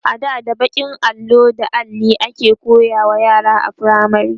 ada da bakin allo da Alli ake koyarwa yara a firamare